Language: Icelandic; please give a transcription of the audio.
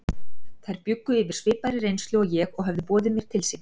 Þær bjuggu yfir svipaðri reynslu og ég og höfðu boðið mér til sín.